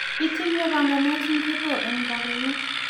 itinye panganet ngoro eng' rabinik